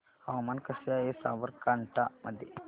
हवामान कसे आहे साबरकांठा मध्ये